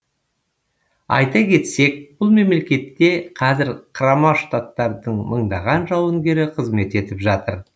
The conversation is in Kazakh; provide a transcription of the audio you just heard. айта кетсек бұл мемлекетте қазір құрама штаттардың мыңдаған жауынгері қызмет етіп жатыр